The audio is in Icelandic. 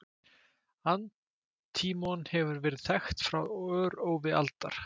Antímon hefur verið þekkt frá örófi alda.